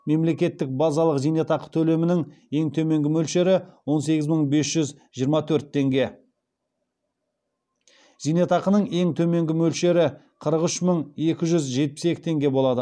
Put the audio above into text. мемлекеттік базалық зейнетақы төлемінің ең төменгі мөлшері он сегіз мың бес жүз жиырма төрт теңге зейнетақының ең төменгі мөлшері қырық үш мың екі жүз жетпіс екі теңге болады